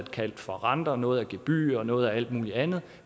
kaldt for renter noget for gebyrer og noget for alt muligt andet